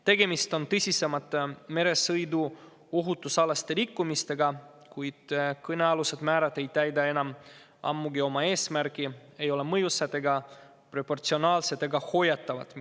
Tegemist on tõsisemate meresõiduohutuse rikkumistega, kuid kõnealused määrad ei täida enam ammugi oma eesmärki, need pole ei mõjusad, proportsionaalsed ega hoiatavad.